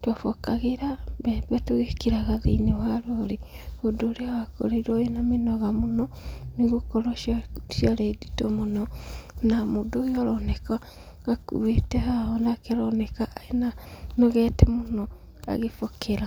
twabokagĩra mbembe tũgĩkĩraga thĩinĩ wa rori, ũndũ ũrĩa wakorirwo wĩna mĩnoga mũno, nĩgũkorwo ciarĩ nditũ mũno, na mũndũ ũyũ aroneka akuwĩte haha onake aroneka anogete mũno agĩbokera.